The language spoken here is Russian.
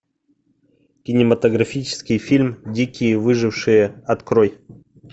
кинематографический фильм дикие выжившие открой